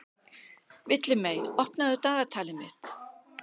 Villimey, opnaðu dagatalið mitt.